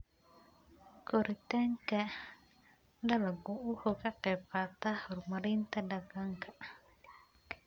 Koritaanka dalaggu wuxuu ka qaybqaataa horumarinta deegaanka.